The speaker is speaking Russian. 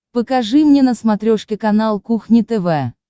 покажи мне на смотрешке канал кухня тв